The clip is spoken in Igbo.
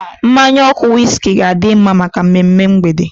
Mmanya ọkụ wiski ga-adi mma maka mmemme mgbede.